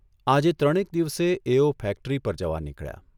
આજે ત્રણેક દિવસે એઓ ફેક્ટરી પર જવા નીકળ્યા.